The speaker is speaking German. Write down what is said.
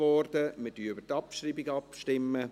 Wir stimmen über die Abschreibung ab.